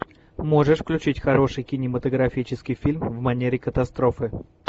можешь включить хороший кинематографический фильм в манере катастрофы